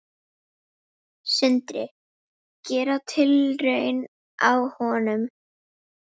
Sindri: Gera tilraun á honum?